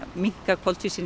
minnka